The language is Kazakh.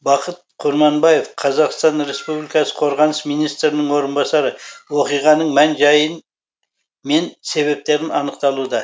бақыт құрманбаев қазақстан республикасы қорғаныс министрінің орынбасары оқиғаның мән жайын мен себептерін анықталуда